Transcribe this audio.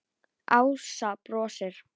Ása brosir.